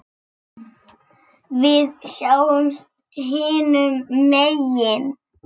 Við sjáumst hinum megin.